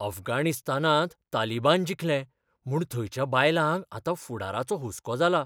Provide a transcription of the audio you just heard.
अफगाणिस्तानांत तालिबान जिखले म्हूण थंयच्या बायलांक आतां फुडाराचो हुस्को जाला.